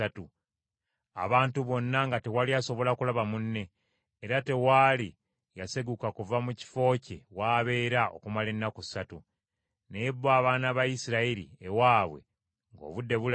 Abantu bonna nga tewali asobola kulaba munne; era tewaali yaseguka kuva mu kifo kye w’abeera okumala ennaku ssatu. Naye bo abaana ba Isirayiri ewaabwe ng’obudde bulaba.